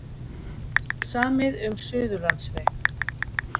Samið um Suðurlandsveg